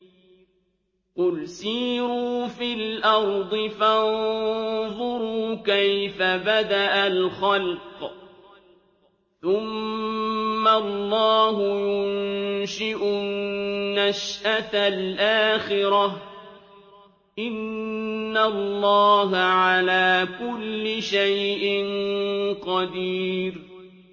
قُلْ سِيرُوا فِي الْأَرْضِ فَانظُرُوا كَيْفَ بَدَأَ الْخَلْقَ ۚ ثُمَّ اللَّهُ يُنشِئُ النَّشْأَةَ الْآخِرَةَ ۚ إِنَّ اللَّهَ عَلَىٰ كُلِّ شَيْءٍ قَدِيرٌ